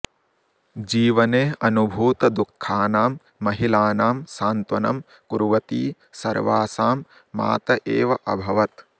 जीवने अनुभूतदुःखानां महिलानां सान्त्वनं कुर्वती सर्वासां मात एव अभवत्